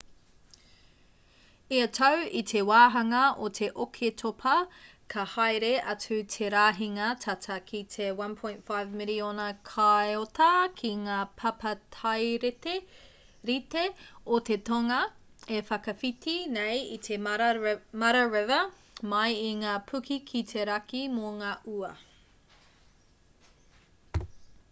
ia tau i te wāhanga o te oketopa ka haere atu te rahinga tata ki te 1.5 miriona kaiota ki ngā papatairite o te tonga e whakawhiti nei i te mara river mai i ngā puke ki te raki mō ngā ua